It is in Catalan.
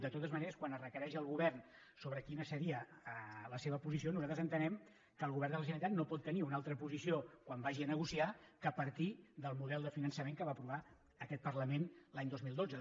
de totes maneres quan es requereix al govern sobre quina seria la seva posició nosaltres entenem que el govern de la generalitat no pot tenir una altra posició quan vagi a negociar que partir del model de finançament que va aprovar aquest parlament l’any dos mil dotze